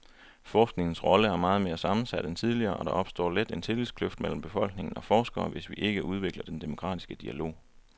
Forskningens rolle er meget mere sammensat end tidligere, og der opstår let en tillidskløft mellem befolkning og forskere, hvis vi ikke udvikler den demokratiske dialog.